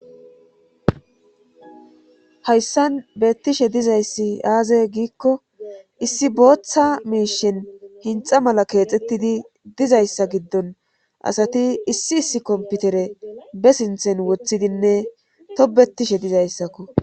hayssan beettishe dizayssi aaze giikko issi booththa miishen hinxa mala keexettidi dizayssa giddon asati issi issi komputere be sinthen wothidinne tobettishe dizayssakko